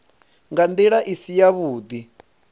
nga ndila i si yavhudi